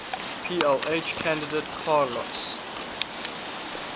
plh candidate carlos